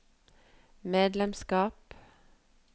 medlemskap